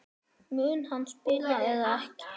Mun hann spila eða ekki?